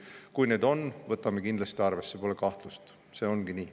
Kui neid on, siis võtame kindlasti arvesse, pole kahtlust, see ongi nii.